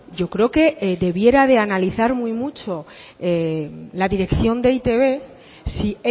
yo creo que debiera de analizar muy mucho la dirección de e i te be si